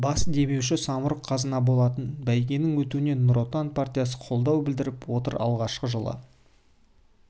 бас демеуші самұрық қазына болатын бәйгенің өтуіне нұр отан партиясы қолдау білдіріп отыр алғашқы жылы